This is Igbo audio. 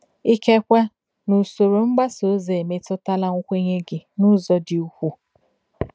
Ikekwe na usoro mgbasa ozi emetụtala nkwenye gị n’ụzọ dị ukwuu